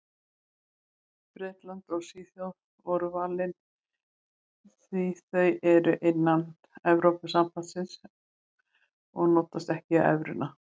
Bretland og Svíþjóð voru valin því þau eru innan Evrópusambandsins en notast ekki við evruna.